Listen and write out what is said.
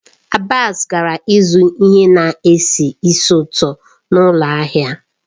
Abbas gara ịzụ ihe na-esi ísì ụtọ n'ụlọ ahịa.